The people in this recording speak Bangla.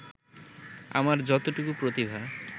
আমার যতটুকু প্রতিভা